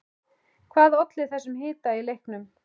Hvað olli þessum hita í leiknum?